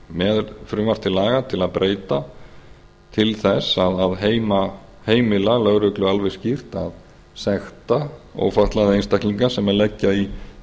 með frumvarp til laga til að breyta til þess að heimila lögreglu alveg skýrt að sekta ófatlaða einstaklinga sem leggja í